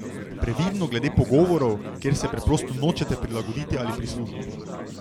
Previdno glede pogovorov, kjer se preprosto nočete prilagoditi ali prisluhniti.